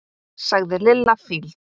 sagði Lilla fýld.